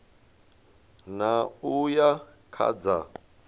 ṋ a uya kha dza